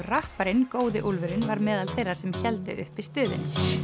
rapparinn góði úlfurinn meðal þeirra sem hélt uppi stuðinu